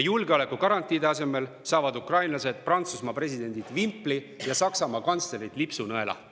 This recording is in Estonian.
Julgeolekugarantiide asemel saavad ukrainlased Prantsusmaa presidendi vimpli ja Saksamaa kantsleri lipsunõela.